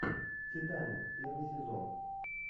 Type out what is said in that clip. титаник первый сезон